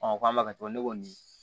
k'an b'a kɛ ne ko nin